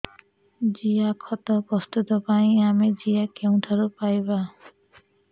ଜିଆଖତ ପ୍ରସ୍ତୁତ ପାଇଁ ଆମେ ଜିଆ କେଉଁଠାରୁ ପାଈବା